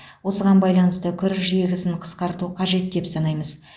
осыған байланысты күріш егісін қысқарту қажет деп санаймыз